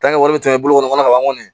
tɛmɛ bolo kɔnɔ ka ban kɔni